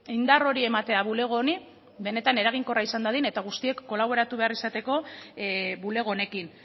indar hori ematea bulego honi benetan eraginkorra izan dadin eta guztiek kolaboratu behar izateko bulego honekin